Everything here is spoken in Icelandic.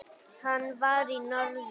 Hann var í norður.